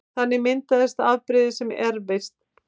Þannig myndast afbrigði sem erfast